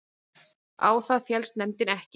Á það féllst nefndin ekki